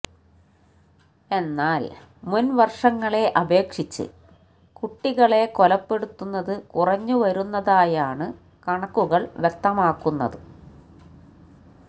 എന്നാല് മുന് വര്ഷങ്ങളെ അപേക്ഷിച്ച് കുട്ടികളെ കൊലപ്പെടുത്തത് കുറഞ്ഞു വരുന്നതായാണ് കണക്കുകള് വ്യക്തമാക്കുന്നത്